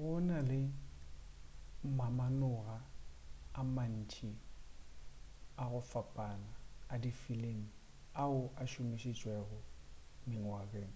gona le mamanoga a mantši a go fapana a difilimi ao a šomišitšwego mengwageng.